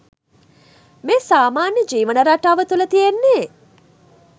මේ සාමාන්‍ය ජීවන රටාව තුළ තියෙන්නේ